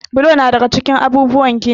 Bulo na daga cikin abubuwan gini.